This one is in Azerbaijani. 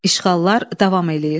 İşğallar davam eləyir.